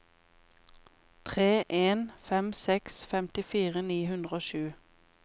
tre en fem seks femtifire ni hundre og sju